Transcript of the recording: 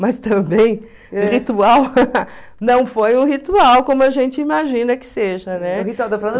Mas também, o ritual não foi o ritual como a gente imagina que seja, né?